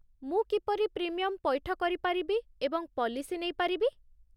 ମୁଁ କିପରି ପ୍ରିମିୟମ୍ ପୈଠ କରିପାରିବି ଏବଂ ପଲିସି ନେଇପାରିବି?